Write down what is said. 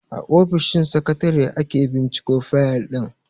A ofishin sakatare ake binciko fayal din.